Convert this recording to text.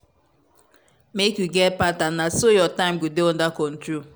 make you get pattern na so your time go dey under control.